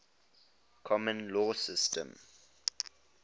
common law systems